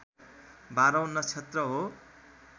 बाह्रौँ नक्षत्र हो